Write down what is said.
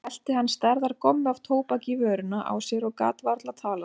Nú hellti hann stærðar gommu af tóbaki í vörina á sér og gat varla talað.